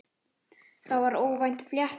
Það var óvænt flétta.